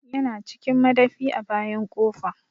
Ya na cikin madafi a bayan ƙofa